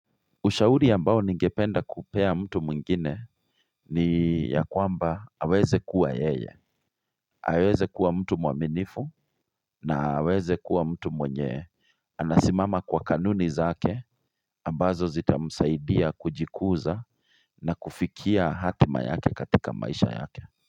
Ushauri ambao ningependa kupea mtu mwingine ni ya kwamba aweze kuwa yeye. Aweze kuwa mtu mwaminifu na aweze kuwa mtu mwenye. Anasimama kwa kanuni zake ambazo zitamsaidia kujikuza na kufikia hatima yake katika maisha yake.